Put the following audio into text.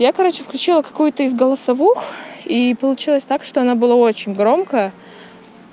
я короче включила какую-то из голосовых и получилось так что она была очень громкая